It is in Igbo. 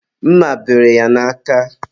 mma bere ya n'aka.